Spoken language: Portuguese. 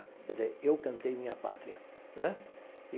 Quer dizer, eu cantei minha pátria né.